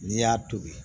N'i y'a tobi